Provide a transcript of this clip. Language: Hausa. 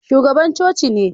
Shugaban coci ne